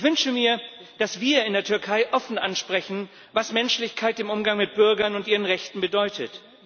Ich wünsche mir, dass wir in der Türkei offen ansprechen, was Menschlichkeit im Umgang mit Bürgern und ihren Rechten bedeutet.